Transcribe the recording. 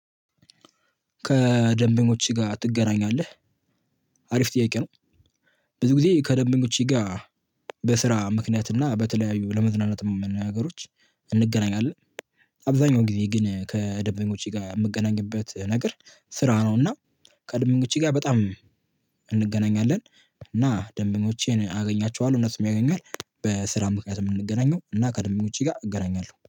ከደንበኞችህ ጋር ትገናኛለህ? አሪፍ ጥያቄ ነው ብዙ ጊዜ ከደንበኞቸ ጋር በስራ ምክንያት እና በተለያዩ ለመዝናናት ነገሮች እንገናኛለን። አብዛኛው ጊዜ ግን ከደበኞቼ ጋር የምገናኝበት ነገር ስራ ነው እና ከደበኞቼ ጋር በጣም እንገናኛለን እና ደንበኞቼን አገኛቸዋለሁ እነሱም ያገኙኛል በስራ ምክንያት የምንገናኘው እና ከደንበኞቼ ጋር እገናኛለሁ።